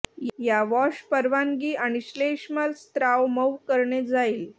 या वॉश परवानगी आणि श्लेष्मल स्त्राव मऊ करणे जाईल